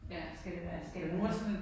Ja, skal det være skal det være nu